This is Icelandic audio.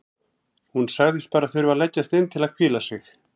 Hún sagðist bara þurfa að leggjast inn til að hvíla sig.